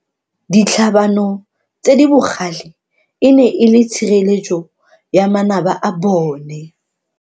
Ditlhabano tse di bogale e ne e le tshireletso ya manaba a bone.